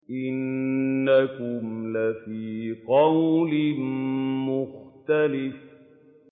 إِنَّكُمْ لَفِي قَوْلٍ مُّخْتَلِفٍ